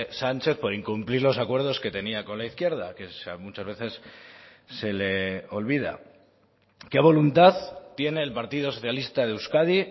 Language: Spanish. sánchez por incumplir los acuerdos que tenía con la izquierda que muchas veces se le olvida qué voluntad tiene el partido socialista de euskadi